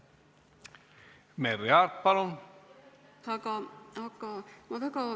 Merry Aart, palun!